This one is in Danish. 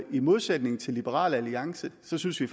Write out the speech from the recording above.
i modsætning til liberal alliance synes vi